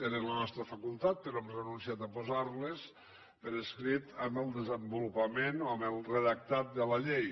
era la nostra facultat però hem renunciat a posar les per escrit en el desenvolupament o en el redactat de la llei